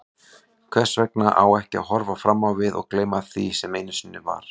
Hvers vegna ekki að horfa fram á við og gleyma því sem einu sinni var?